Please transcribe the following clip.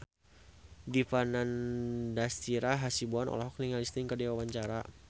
Dipa Nandastyra Hasibuan olohok ningali Sting keur diwawancara